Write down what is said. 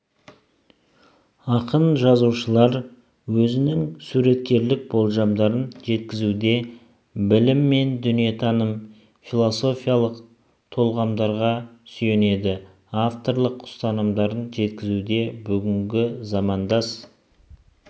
ақын-жазушылар өзінің суреткерлік болжамдарын жеткізуде білім мен дүниетанымы философиялық толғамдарға сүйенеді авторлық ұстанымдарын жеткізуде бүгінгі замандас